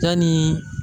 Yanni